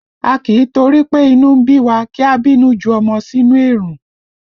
A kì í torí pé inú ń bí wa kí a bínú ju ọmọ sínú èrùn